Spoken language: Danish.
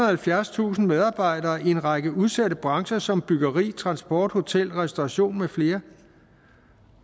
halvfjerdstusind medarbejdere i en række udsatte brancher som byggeri transport hotel restauration med flere